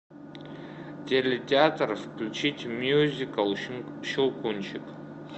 телетеатр включить мюзикл щелкунчик